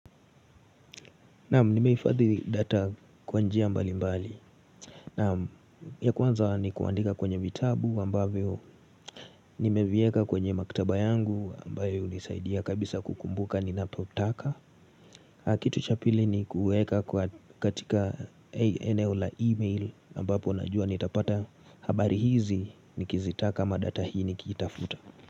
Nam nimehifadhi data kwa njia mbali mbali ya kwanza ni kuandika kwenye vitabu ambavyo nimevieka kwenye maktaba yangu ambayo unisaidia kabisa kukumbuka ni napotaka Kitu cha pili ni kueka katika eneo la email ambapo najua nitapata habari hizi Nikizitaka ama data hii nikiitafuta.